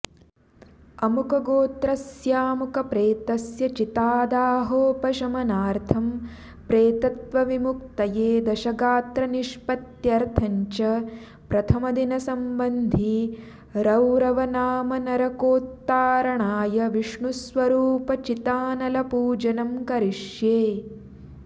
अमुकगोत्रस्यामुकप्रेतस्य चितादाहोपशमनार्थं प्रेतत्वविमुक्तये दशगात्रनिष्पत्यर्थंञ्च प्रथमदिन सम्बन्धि रौरवनामनरकोत्तारणाय विष्णुस्वरूपचितानलपूजनं करिष्ये